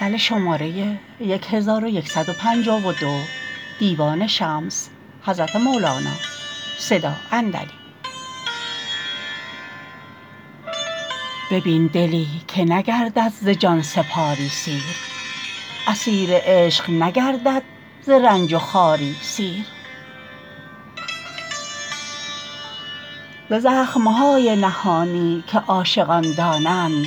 ببین دلی که نگردد ز جان سپاری سیر اسیر عشق نگردد ز رنج و خواری سیر ز زخم های نهانی که عاشقان دانند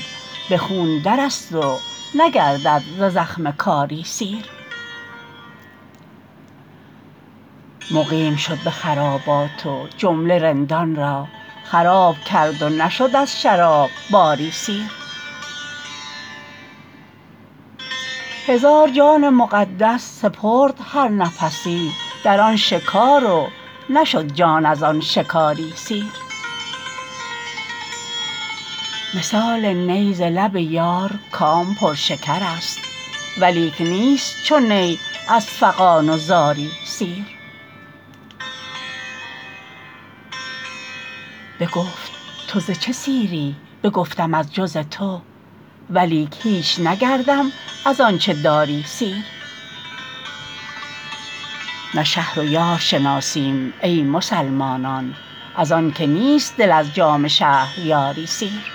به خون درست و نگردد ز زخم کاری سیر مقیم شد به خرابات و جمله رندان را خراب کرد و نشد از شراب باری سیر هزار جان مقدس سپرد هر نفسی در آن شکار و نشد جان از آن شکاری سیر مثال نی ز لب یار کام پرشکرست ولیک نیست چو نی از فغان و زاری سیر بگفت تو ز چه سیری بگفتم از جز تو ولیک هیچ نگردم از آنچ داری سیر نه شهر و یار شناسیم ای مسلمانان از آنک نیست دل از جام شهریاری سیر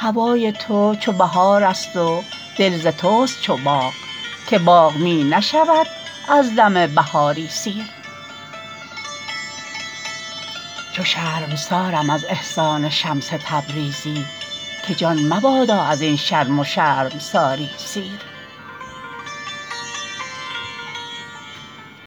هوای تو چو بهارست و دل ز توست چو باغ که باغ می نشود از دم بهاری سیر چو شرمسارم از احسان شمس تبریزی که جان مباد از این شرم و شرمساری سیر